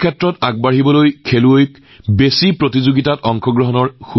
জগতখনত আগবাঢ়ি যাবলৈ খেলুৱৈসকলে খেলাৰ সৰ্বাধিক সুযোগ পোৱাটো গুৰুত্বপূৰ্ণ আৰু দেশত ভাল ক্ৰীড়া প্ৰতিযোগিতাও আয়োজন কৰা হয়